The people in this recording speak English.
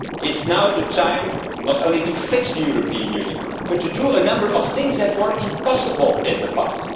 It is now the time not only to fix the European Union, but to do a number of things that were impossible in the past.